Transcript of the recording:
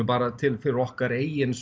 bara fyrir okkar eigin